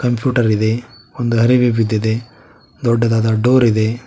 Computer ಇದೆ ಒಂದು ಅರಿವಿ ಬಿದ್ದಿದೆ ದೊಡ್ಡದಾದ ಡೋರ್ ಇದೆ.